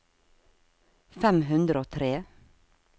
fem hundre og tre